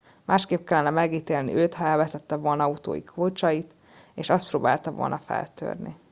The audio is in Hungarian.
másképp kellene megítélni őt ha elvesztette volna autója kulcsait és azt próbálta volna feltörni